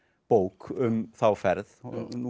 bók um þá ferð og nú